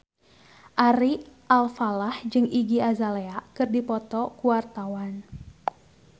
Ari Alfalah jeung Iggy Azalea keur dipoto ku wartawan